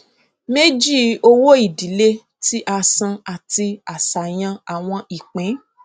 méjì owóìdílé tí a san àti àṣàyàn àwọn ìpín